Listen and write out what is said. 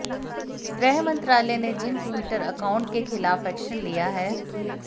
गृहमंत्रालय ने जिन ट्विटर अकाउंट के खिलाफ एक्शन लिया है